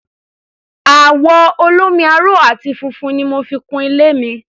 Àwọ̀ olómi-aró àti funfun ni mo fi kun ilé mi.